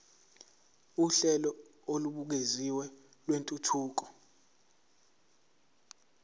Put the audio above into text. uhlelo olubukeziwe lwentuthuko